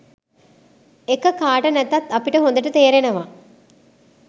එක කාට නැතත් අපිට හොදට තේරෙනවා.